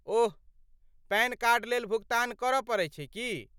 ओह, PAN card लेल भुगतान करऽ पड़ैत छै की?